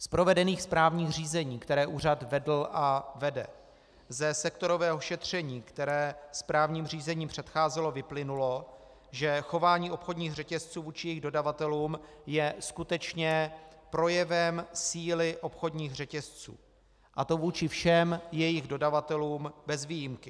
Z provedených správních řízení, která úřad vedl a vede, ze sektorového šetření, které správním řízením předcházelo, vyplynulo, že chování obchodních řetězců vůči jejich dodavatelům je skutečně projevem síly obchodních řetězců, a to vůči všem jejich dodavatelům bez výjimky.